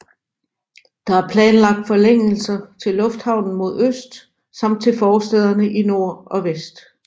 Der er planlagt forlængelser til lufthavnen mod øst samt til forstæder i nord og vest